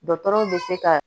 Dɔgɔtɔrɔw bɛ se ka